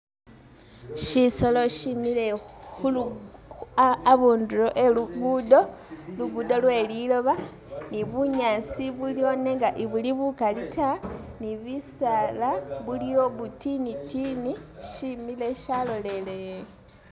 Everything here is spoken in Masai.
Shisolo shemile khulu abu abundulo e'lugudo, ligudo lwe liloba ne bunyaasi buliwo nenga ibuli bukaali ta ne bisaala buliwo bitinitini shemili shalolele.